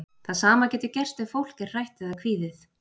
Það sama getur gerst ef fólk er hrætt eða kvíðið.